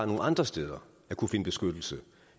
nogle andre steder at kunne finde beskyttelse